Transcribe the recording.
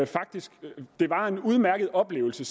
faktisk en udmærket oplevelse